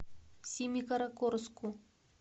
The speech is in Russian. семикаракорску